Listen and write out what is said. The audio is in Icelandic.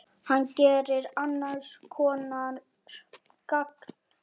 Hann gerir annars konar gagn.